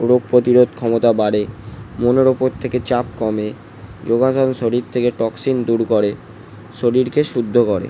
রোগ প্রতিরোধ ক্ষমতা বাড়ে মনের ওপর থেকে চাপ কমে যোগা শরীর থেকে টক্সিন দূর করে। শরীর কে শুদ্ধ করে ।